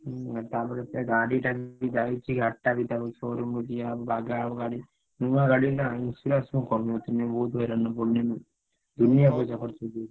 ହୁଁ ତାପରେ ସେ ଗାଡିଟା ବି ଯାଇଛି ଗାଡିଟା ବି ତାକୁ showroom ଦିଆ ହବ ବାଗା ହବ ଗାଡି। ନୁଆ ଗାଡି ନା insurance ମୁଁ କରିନଥିଲି ବହୁତ୍ ହଇରାଣରେ ପଡିବି। ଦୁନିଆ ପଇସା ଖର୍ଚ ହେଇଯିବ।